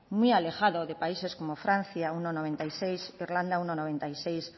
muy alejado de países como francia uno coma noventa y seis irlanda uno coma noventa y seis